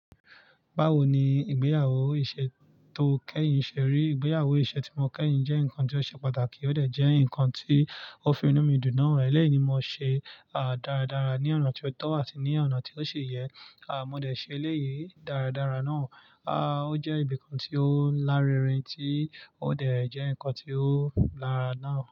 Bawo ni ìgbéyàwó iṣe tó kẹ́yìn ṣe rí ìgbéyàwó iṣe ti mo kẹ́yìn jẹ́ nǹkan ti o ṣe pàtàkì, o dẹ jẹ́ nǹkan ti o fi inú mi dùn náà. Eleyii ni mo ṣe, à, dáradára ní ọ̀nà ti o tọ àti ní ọ̀nà ti o ṣe yẹ, à, mo dẹ ṣe eleyii dáradára náà, á, o jẹ́ ibìkan tí ó lárinrin tí ó dẹ jẹ́ nǹkan tí ó lara náà.